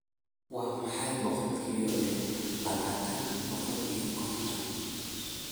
waa maxay boqolkiiba labaatan boqol iyo konton